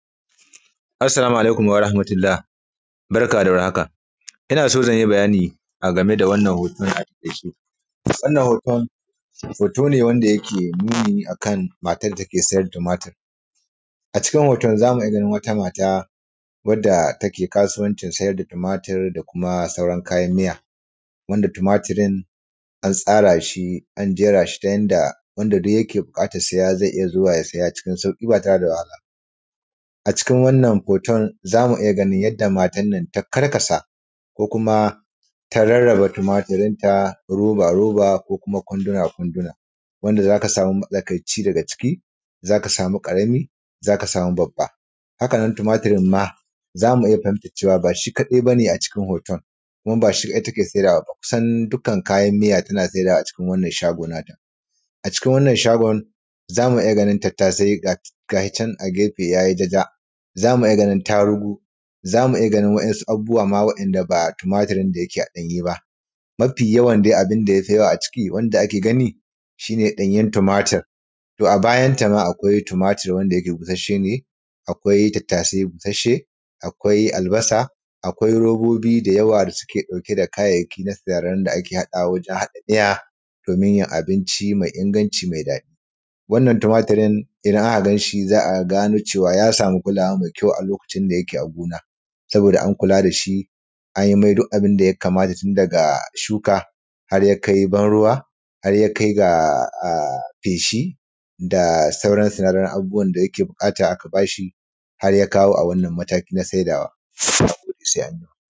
Assalamu alaikum warahmatullah barka da warhaka, ina so zan yi bayani ne a game da wannan hotan da ke wannan hoto. Hoto ne wanda yake nuni akan matar da ke sai da tumatur, a cikin hotan za mu ga wata mata da take kasuwancin sai da tumatur da kuma sauran kayan miya, wanda tumaturin an tsara shi an jera shi ta yanda duk wanda yake buƙatan siya zai iya zuwa ya siya cikin sauƙi ba tare da wahala. A cikin wannan hotan za mu iya gani yanda matannan ta karkasa ko kuma ta rarraba tumaturinta roba-roba, ko kuma kwanduna-kwanduna wanda za ka samu matsakaici. aga ciki za ka samu ƙarami, za ka samu babba, haka nan tumaturin za mu iya ɗan fa cewa ba shi kaɗai ba ne fa a cikin hotan, kuma ba shi kaɗai take saidawa ba; kusan dukkan kayan miya tana saidawa a cikin wannan shago nata, a cikin wannan shago za mu iya ganin tattasai dai gashi can a gefe ya yi ja-ja za mu iya ganin tarugu, za mu iya ganin wasu abubuwa ma waɗanda ba tumaturin da yake a ɗanye ba; mafi yawan dai abun da yafi yawa a ciki wanda ake gani shi ne ɗanyan tumatur. To, a bayanta ma akwai tumatur wanda yake busashshe ne, akwai tattasai busashshe, akwai albasa, akwai robobi da yawa da suke ɗauke da kayayyaki na sinadaran da ake haɗawa wajen haɗa miya domin yin abinci mai inganci mai daɗi. Wannan tumaturin idan aka gan shi za a gane cewa ya samu kulawa mai kyau a lokacin da yike a gona saboda an kula da shi, an yi mai duk abun da ya kamata tunda ga shuka har ya kai banruwa, har ya kai ga feshi da sauran sinadaran abubuwan da yake buƙata, aka ba shi har ya kawo a wannan mataki na saidawa.